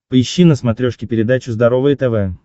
поищи на смотрешке передачу здоровое тв